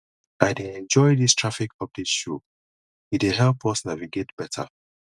i dey enjoy dis traffic update show e dey help us navigate beta